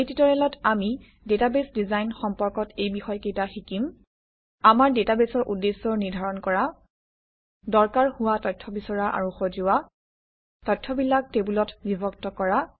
এই টিউটৰিয়েলত আমি ডাটাবেছ ডিজাইন সম্পৰ্কত এই বিষয়কেইটা শিকিম আমাৰ ডাটাবেছৰ উদ্দেশ্য নিৰ্ধাৰণ কৰা দৰকাৰ হোৱা তথ্য বিচৰা আৰু সজোৱা তথ্যবিলাক টেবুলত বিভক্ত কৰা